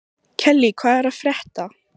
Kellý, hvað er að frétta?